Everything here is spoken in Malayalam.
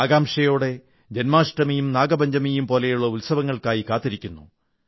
ആകാംക്ഷയോടെ ജൻമാഷ്ടമിയും നാഗപഞ്ചമിയും പോലുള്ള ഉത്സങ്ങൾക്കായി കാക്കുന്നു